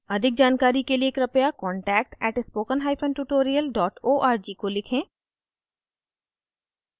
अधिक जानकारी के लिए कृपया contact @spokentutorial org को लिखें